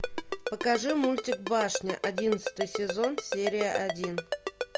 покажи мультик башня одиннадцатый сезон серия один